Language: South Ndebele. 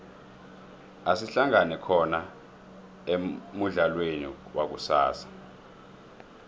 asihlangane khona emudlalweni wakusasa